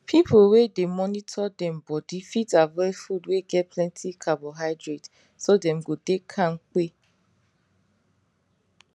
people wey dey monitor dem body fit avoid food wey get plenty carbohydrate so dem go dey kampe